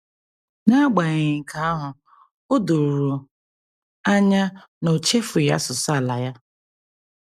N’agbanyeghị nke ahụ, o doro anya na o chefughị asụsụ ala ya.